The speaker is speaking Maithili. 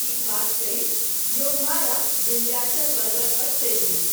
ई बात कहि योगमाया विन्ध्याचल पर्वत पर चल गेलीह।